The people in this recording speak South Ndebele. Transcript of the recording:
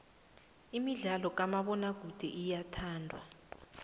imidlalo kamabonakude iyathandwa